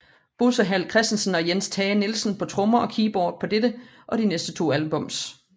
Bosse Hall Christensen og Jens Tage Nielsen på trommer og keyboard på dette og de næste to albums